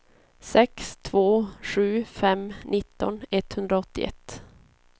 sex två sju fem nitton etthundraåttioett